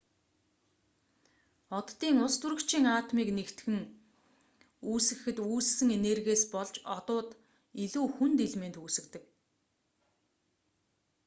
оддын устөрөгчийн атомыг нэгтгэн эсвэл хайлуулж үүсгэхэд үүссэн энергиээс болж одууд илүү хүнд элемент үүсгэдэг